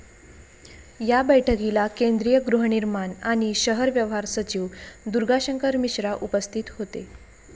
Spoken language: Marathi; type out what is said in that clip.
या बैठकीला केंद्रीय गृहनिर्माण आणि शहर व्यवहार सचिव दुर्गाशंकर मिश्रा उपस्थित होते.